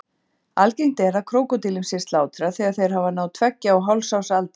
Algengt er að krókódílum sé slátrað þegar þeir hafa náð tveggja og hálfs árs aldri.